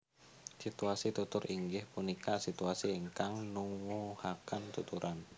Situasi Tutur inggih punika situasi ingkang nuwuhaken tuturan